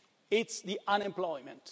It's the unemployment.